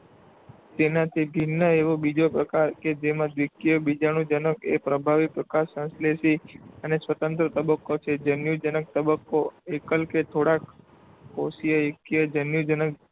તેનાથી ભિન્ન એવો બીજો પ્રકાર કે જેમાં દ્વિકીય બીજાણુજનક એ પ્રભાવી, પ્રકાશસંશ્લેષી અને સ્વતંત્ર તબક્કો છે. જન્યુજનક તબક્કો એકલ કે થોડાક કોષીય એકકીય જન્યુજનક